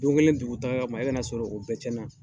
Don kelen dugu taga kama e ka na sɔrɔ o bɛɛ cɛn na